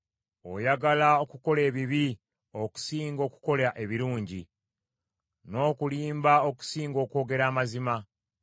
Oyagala okukola ebibi okusinga okukola ebirungi, n’okulimba okusinga okwogera amazima.